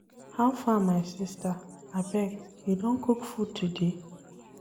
How far my sista, abeg, you don cook food today?